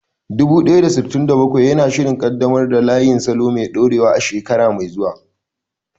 Dubu ɗaya da sittin da bakwai yana shirin ƙaddamar da layin salo mai dorewa a shekara mai zuwa.